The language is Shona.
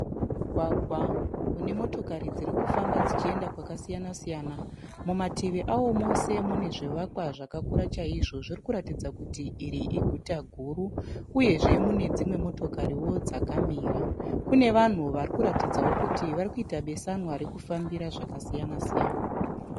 Mugwagwa une motokari dziri kufamba dzichienda kwakasiyana-siyana. Mumativi avo mose mune zvivakwa zvakura chaizvo. Zviri kuratidza kuti iri iguta guru uyezve mune dzimwe motokariwo dzakamira. Kune vanhu vari kuratidzawo kuti vari kuita beswana rekufambira zvakasiyana-siyana.